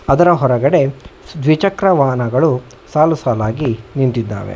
ಅದರ ಹೊರಗಡೆ ದ್ವಿಚಕ್ರ ವಾಹನಗಳು ಸಾಲುಸಾಲಾಗಿ ನಿಂತಿದ್ದಾವೆ.